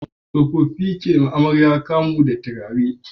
Tsofaffi ke yiwa amarya kamu da turare a jikinta